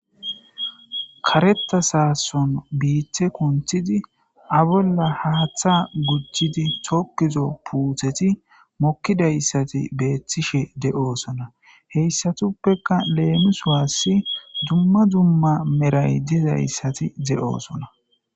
Karetha sasson bitha kunthidi a bolla haththa gujidi thokidi puthethi mokidayssathi bethishe deo'ssonna. Heyssatupeka lemisuwasi dumma dumma meray dizzayssathi deo'ssonna.